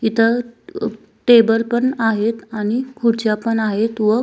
इथ टेबल पण आहेत आणि खुर्च्या पण आहेत व --